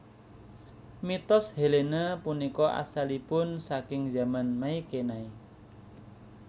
Mitos Helene punika asalipun saking Zaman Mykenai